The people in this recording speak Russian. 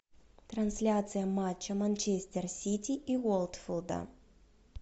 трансляция матча манчестер сити и уотфорда